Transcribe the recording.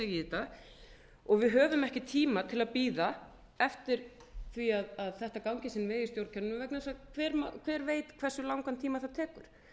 þetta og við höfum ekki tíma til að bíða eftir því að þetta gangi sinn veg í stjórnkerfinu vegna þess að hver veit hversu langan tíma það tekur